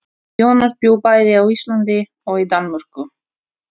Jónas bjó bæði á Íslandi og í Danmörku.